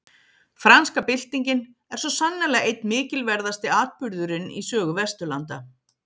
Franska byltingin er svo sannarlega einn mikilverðasti atburðurinn í sögu Vesturlanda.